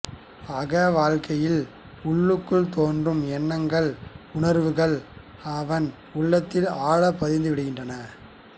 அக வாழ்க்கையில் உள்ளுக்குள் தோன்றும் எண்ணங்கள் உணர்வுகள் அவன் உள்ளத்தில் ஆழ பதிந்து விடுகின்றன